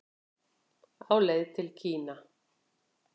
Á leið til Kína